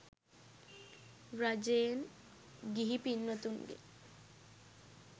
රජයෙන් ගිහි පින්වතුන්ගෙන්